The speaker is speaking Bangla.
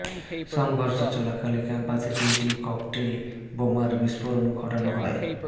সংঘর্ষ চলাকালে ক্যাম্পাসে তিনটি ককটেল বোমার বিস্ফোরণ ঘটানো হয়